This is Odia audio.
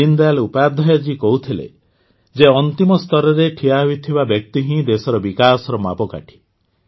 ଦୀନଦୟାଲ ଉପାଧ୍ୟାୟ କହୁଥିଲେ ଯେ ଅନ୍ତିମ ସ୍ତରରେ ଠିଆ ହୋଇଥିବା ବ୍ୟକ୍ତି ହିଁ ଦେଶର ବିକାଶର ମାପକାଠି